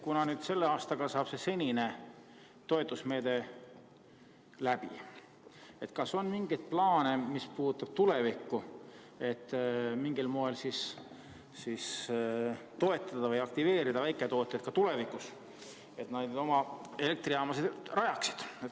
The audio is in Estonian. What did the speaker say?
Kuna selle aastaga saab senine toetusmeede läbi, siis küsin, kas on mingeid plaane, mis puudutavad tulevikku, et mingil moel toetada või aktiveerida väiketootjaid ka tulevikus oma elektrijaamu rajama.